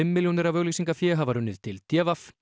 milljónir af auglýsingafé hafa runnið til d v